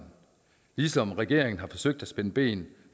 ligesom regeringen har forsøgt at spænde ben